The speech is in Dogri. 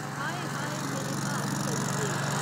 हाए हाए मेरे भाग सड़ी गे।